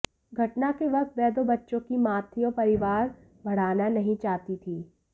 घटना के वक्त वह दो बच्चों की मां थी और परिवार बढ़ाना नहीं चाहती थी